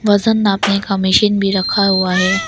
वजन नापने का मशीन भी रखा हुआ है।